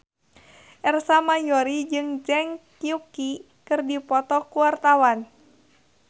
Ersa Mayori jeung Zhang Yuqi keur dipoto ku wartawan